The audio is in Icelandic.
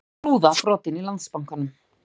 Rúða brotin í Landsbankanum